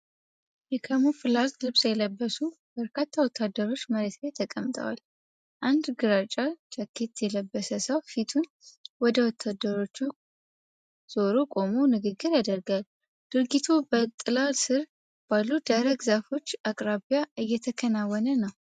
የካሙፍላዥ ልብስ የለበሱ በርካታ ወታደሮች መሬት ላይ ተቀምጠዋል። አንድ ግራጫ ጃኬት የለበሰ ሰው ፊቱን ከወታደሮቹ ዞሮ ቆሞ ንግግር ያደርጋል። ድርጊቱ በጥላ ስር ባሉ ደረቅ ዛፎች አቅራቢያ እየተከናወነ ነው።